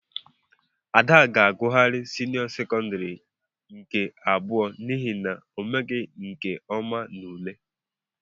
Ada ga-agughari senio sekondari nke abụọ n'ihi na omeghi nke ọma n'ule.